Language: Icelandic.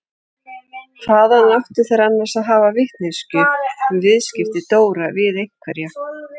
Hvaðan áttu þeir annars að hafa vitneskjuna um viðskipti Dóra við einhverja?